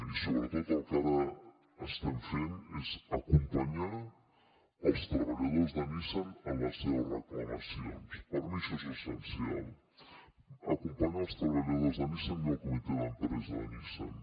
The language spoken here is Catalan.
i sobretot el que ara estem fent és acompanyar els treballadors de nissan en les seves reclamacions per mi això és essencial acompanyar els treballadors de nissan i el comitè d’empresa de nissan